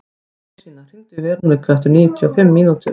Magnúsína, hringdu í Veroniku eftir níutíu og fimm mínútur.